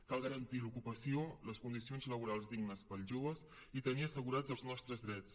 cal garantir l’ocupació les condicions laborals dignes per als joves i tenir assegurats els nostres drets